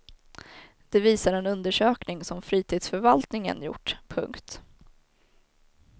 Det visar en undersökning som fritidsförvaltningen gjort. punkt